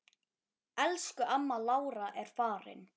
Elsku amma Lára er farin.